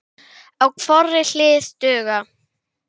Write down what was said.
Bara hægar.